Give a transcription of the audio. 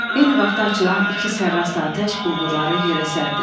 Eyni vaxtda açılan iki sərras atəş quldurları yerə sərdi.